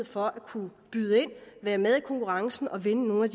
for at kunne byde ind og være med i konkurrencen og vinde nogle af